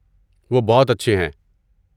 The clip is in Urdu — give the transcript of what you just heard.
وہ بہت اچھے ہیں۔